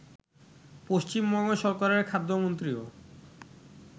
পশ্চিমবঙ্গ সরকারের খাদ্যমন্ত্রীও